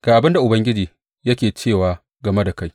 Ga abin da Ubangiji yake cewa game da kai.